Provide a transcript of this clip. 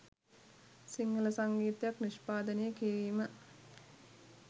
සිංහල සංගීතයක් නිෂ්පාදනය කිරීම